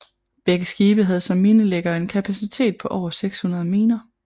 Begge skibe havde som minelæggere en kapacitet på 600 miner